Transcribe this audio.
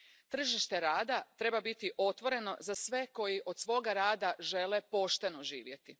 Tržište rada treba biti otvoreno za sve koji od svoga rada žele pošteno živjeti.